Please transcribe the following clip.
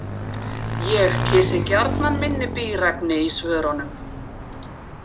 Ég kysi gjarnan minni bíræfni í svörunum.